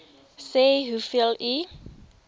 sê hoeveel u